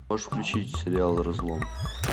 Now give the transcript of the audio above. можешь включить сериал разлом